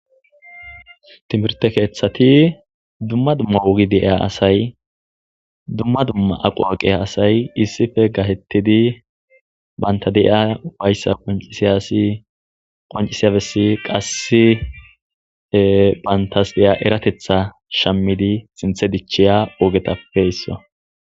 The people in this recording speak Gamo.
Timirte keeththati dumma dumma wogi deeya asay dumma dumma aqu aqiya asay issife gatettidi bantadi'iya ufayssa qoncisiyasi qoncisiyabessi qasse bantas diya eratetha shammidi sinthe dichiya ogetappeyssa.